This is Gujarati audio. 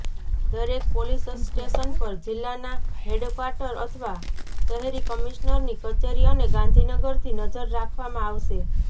દરેક પોલીસ સ્ટેશન પર જિલ્લાના હેડક્વાટર અથવા શહેર કમિશ્નરની કચેરી અને ગાંધીનગરથી નજર રાખવામાં આવશે